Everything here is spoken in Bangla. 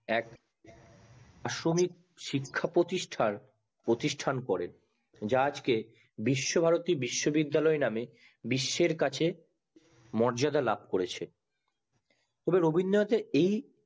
এক আশ্রমিক শিক্ষা প্রতিষ্ঠার প্রতিষ্টান করেন যা আজকে বিসার বিশ্ব বিদ্যালয় নাম এ পরিচিত নামে বিশ্বের কাছে মর্যাদা লাভ করে রবীন্দ্রনাথের এই